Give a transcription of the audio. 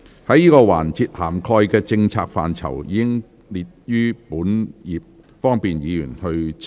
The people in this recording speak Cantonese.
這個環節涵蓋的政策範疇，已載列於本頁，方便議員參閱。